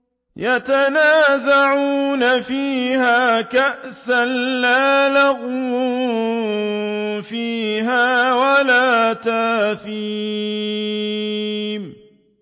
يَتَنَازَعُونَ فِيهَا كَأْسًا لَّا لَغْوٌ فِيهَا وَلَا تَأْثِيمٌ